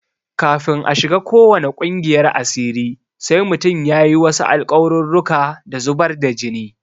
Kafin a shiga ko wane ƙungiyar asiri sai mutum ya yi wasu alƙawarurruka da zubar da jini.